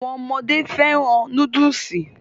Àwọn ọmọdé fẹ́ràn núdùsì